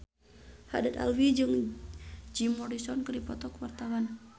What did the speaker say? Haddad Alwi jeung Jim Morrison keur dipoto ku wartawan